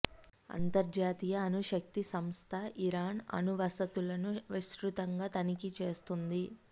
అంతర్జాతీయ అణు శక్తి సంస్థ ఇరాన్ అణు వసతులను విస్తృతంగా తనిఖీ చేస్తుంది